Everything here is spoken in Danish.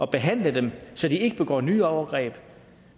behandle dem så de ikke begår nye overgreb